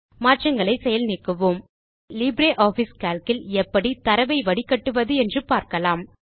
மாற்றங்களை செயல் நீக்குவோம் இப்போது லிப்ரியாஃபிஸ் கால்க் இல் எப்படி தரவை வடிகட்டுவது என்று காணலாம்